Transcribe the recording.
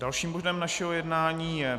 Dalším bodem našeho jednání je